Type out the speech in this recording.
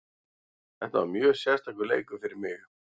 Þetta var mjög sérstakur leikur fyrir mig.